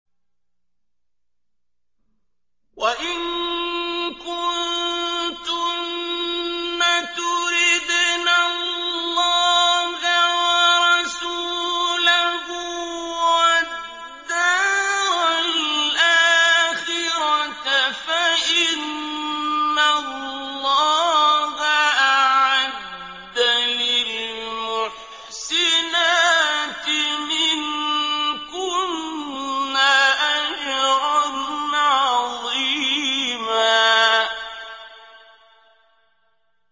وَإِن كُنتُنَّ تُرِدْنَ اللَّهَ وَرَسُولَهُ وَالدَّارَ الْآخِرَةَ فَإِنَّ اللَّهَ أَعَدَّ لِلْمُحْسِنَاتِ مِنكُنَّ أَجْرًا عَظِيمًا